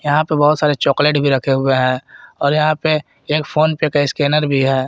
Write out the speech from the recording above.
यहां पे बहुत सारे चॉकलेट भी रखे हुए हैं और यहां पर एक फोन पे का स्कैनर भी है।